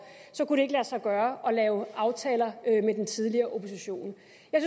kunne det ikke lade sig gøre at lave aftaler med den tidligere opposition